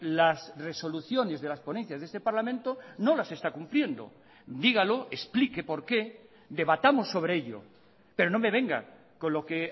las resoluciones de las ponencias de este parlamento no las está cumpliendo dígalo explique por qué debatamos sobre ello pero no me venga con lo que